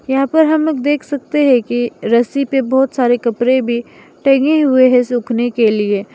यहां पर हम लोग देख सकते हैं की रस्सी पे बहोत सारे कपड़े भी टंगे हुए हैं सूखने के लिए --